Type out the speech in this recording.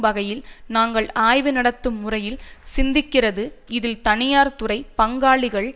வகையில் நாங்கள் ஆய்வுநடத்தும் முறையில் சிந்திக்கிறதுஇதில் தனியார்துறை பங்காளிகள்